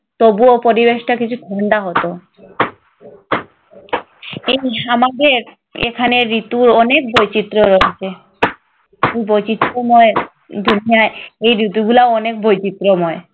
তবুও পরিবেশটা কিছুটা ঠাণ্ডা হতো। এই আমাদের এখানে ঋতুরও অনেক বৈচিত্র্য রয়েছে। বৈচিত্র্যময় এই ঋতুগুলা অনেক বৈচিত্রময়।